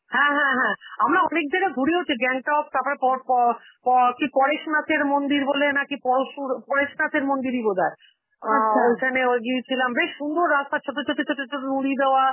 হ্যাঁ হ্যাঁ হ্যাঁ, আমরা অনেক জায়গায় ঘুরেওছি, গ্যাংটক, তারপরে পরপর প~ কি পরেশনাথের মন্দির বলে নাকি, পরশুর~ পরেশনাথের মন্দিরই বোধহয়. আ ও ওখানে ওই গিয়েছিলাম, বেশ সুন্দর রাস্তা, ছোট ছোট ছোট ছোট নুড়ি দেওয়া